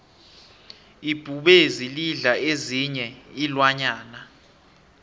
ibhubezi lidla ezinyei iinlwanyana